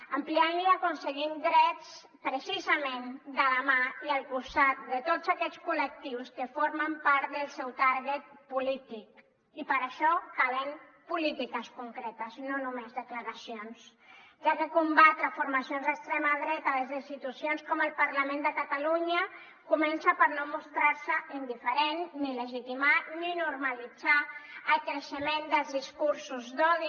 ampliant la aconseguim drets precisament de la mà i al costat de tots aquests col·lectius que formen part del seu target polític i per això calen polítiques concretes no només declaracions ja que combatre formacions d’extrema dreta des d’institucions com el parlament de catalunya comença per no mostrar se indiferent ni legitimar ni normalitzar el creixement dels discursos d’odi